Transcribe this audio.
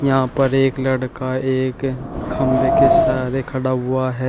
यहां पर एक लड़का एक खंभे के सहारे खड़ा हुआ है।